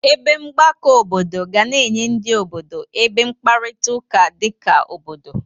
Ebe mgbakọ obodo ga na-enye ndị obodo ebe mkparịtaụka dị ka obodo.